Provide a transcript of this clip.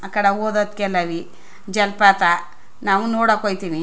ಆಕಡೆ ಹೋದತ್ ಕೇಲವಿ ಜಲಪಾತ ನಾವು ನೋಡಕ್ ಹೋಯ್ ತಿನಿ.